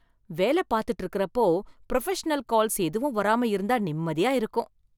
வேலை பார்த்துட்டு இருக்குறப்போ, புரொஃபஷனல் கால்ஸ் எதுவும் வராம இருந்தா நிம்மதியா இருக்கும்.